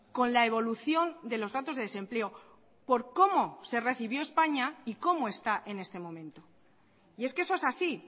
con la evolución de los datos de desempleo por cómo se recibió españa y cómo está en este momento y es que eso es así